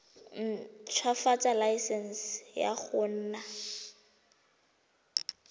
ntshwafatsa laesense ya go nna